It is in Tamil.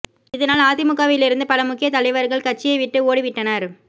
இதனால் அதிமுகவிலிருந்து பல முக்கியத் தலைவர்கள் கட்சியை விட்டு ஓடி விட்டனர்